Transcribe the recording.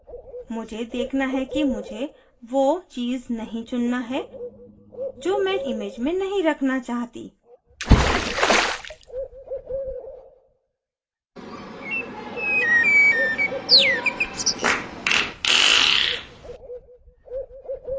मुझे देखना है कि मुझे वो चीज़ नहीं चुनना है जो मैं image में नही रखना चाहती